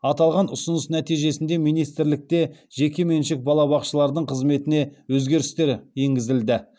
аталған ұсыныс нәтижесінде министрлікте жекеменшік балабақшалардың қызметіне өзгерістері енгізілді